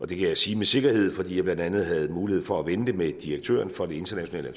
det kan jeg sige med sikkerhed fordi jeg blandt andet havde mulighed for at vende det med direktøren for det internationale